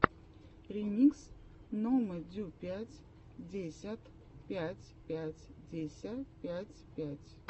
ремикс номэдюпятьдесятпятьпятьдесяпятьпять